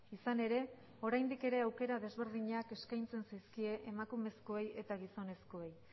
izan ere oraindik ere aukera desberdinak eskaintzen zaizkie emakumezkoei eta gizonezkoei